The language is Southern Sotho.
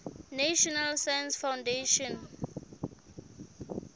national science foundation